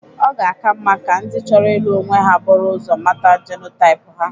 Ọ ga-aka mma ka ndị chọro ilụ onwe ha bụrụ ụzọ mata jenotaip ha.